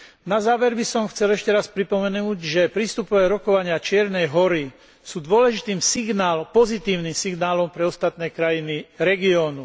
Na záver by som chcel ešte raz pripomenúť, že prístupové rokovania Čiernej Hory sú dôležitým pozitívnym signálom pre ostatné krajiny regiónu.